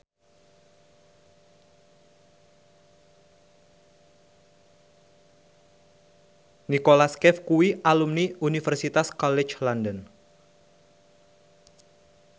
Nicholas Cafe kuwi alumni Universitas College London